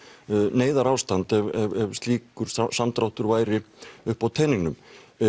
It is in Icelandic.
neyðarástand ef slíkur samdráttur væri uppi á teningnum